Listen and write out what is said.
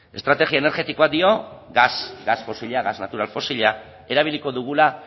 estrategia energetikoak dio gas gas fosila gas natural fosila erabiliko dugula